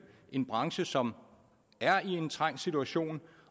en branche som er i en trængt situation